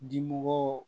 Dimɔgɔw